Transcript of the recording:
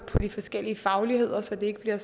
de forskellige fagligheder så det ikke bliver